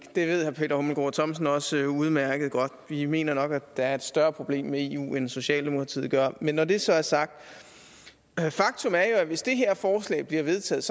det ved herre peter hummelgaard thomsen også udmærket godt vi mener nok at der er et større problem med eu end socialdemokratiet gør men når det så er sagt er faktum jo at hvis det her forslag bliver vedtaget